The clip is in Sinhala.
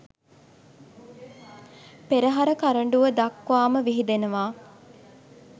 පෙරහර කරඬුව දක්වාම විහිදෙනවා.